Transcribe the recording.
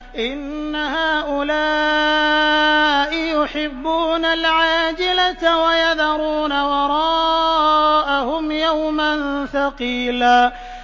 إِنَّ هَٰؤُلَاءِ يُحِبُّونَ الْعَاجِلَةَ وَيَذَرُونَ وَرَاءَهُمْ يَوْمًا ثَقِيلًا